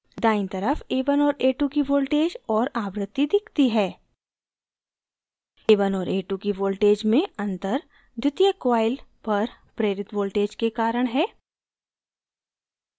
दायीं तरफ a1 और a2 की voltage और आवृत्ति दिखती है